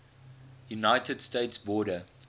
united states border